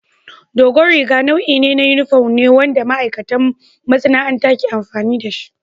Dogon riga nau'in yunifom ne wanda ma'aikatan masana'anta ke amfani da shi.